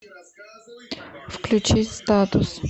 включить статус